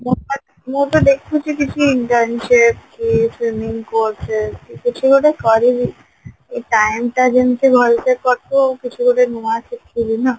ମୁଁ ତ ମୁଁ ତ ଦେଖୁଛି କିଛି internship କି courses କିଛି ଗୋଟେ କରିବି ଏଇ time ଟା କେମିତି ଗୋଟେ ଭଲସେ କଟୁ ଆଉ କିଛି ଗୋଟେ ନୂଆ ଶିଖିବି ନା